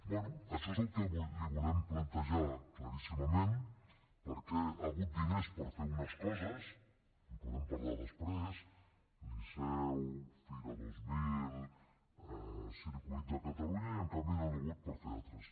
bé això és el que li volem plantejar claríssimament perquè hi ha hagut diners per fer unes coses en podem parlar després liceu fira dos mil circuit de catalunya i en canvi no n’hi ha hagut per fer ne d’altres